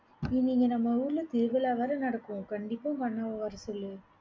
நீங்க இங்க நம்ம ஊர்ல திருவிழா வேற நடக்கும். கண்டிப்பா உங்க அண்ணாவை வரச் சொல்லு.